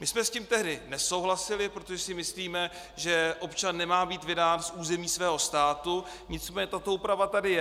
My jsme s tím tehdy nesouhlasili, protože si myslíme, že občan nemá být vydán z území svého státu, nicméně tato úprava tady je.